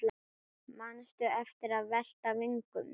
Manstu eftir að velta vöngum?